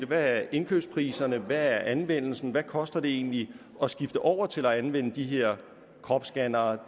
hvad indkøbspriserne er hvad anvendelsen er hvad koster det egentlig at skifte over til at anvende de her kropsscannere